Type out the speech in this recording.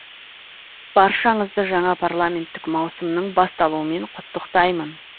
баршаңызды жаңа парламенттік маусымның басталуымен құттықтаймын